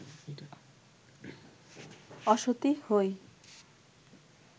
অসতী হই